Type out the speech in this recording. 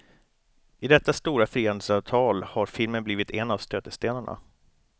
I detta stora frihandelsavtal har filmen blivit en av stötestenarna.